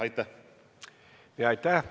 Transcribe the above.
Aitäh!